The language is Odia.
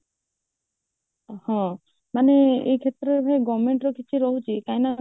ହଁ ମାନେ ଏ କ୍ଷେତ୍ରରେ governmentର କିଛି ରହୁଛି କଇଁ ନା